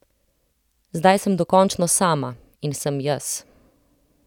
Zdaj sem dokončno sama in sem jaz.